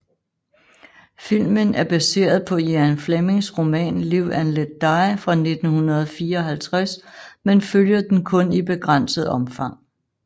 Filmen er baseret på Ian Flemings roman Live and Let Die fra 1954 men følger den kun i begrænset omfang